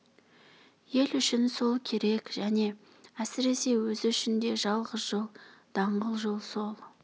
ел үшін сол керек және әсіресе өзі үшін де жалғыз жол даңғыл жол сол